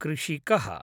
कृषिकः